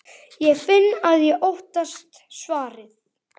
Ég finn að ég óttast svarið.